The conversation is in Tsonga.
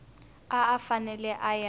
a a fanele a ya